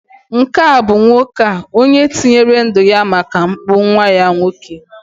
nke a bụ nwoke a, onye tinyere ndu ya maka mpụ nwa ya nwoke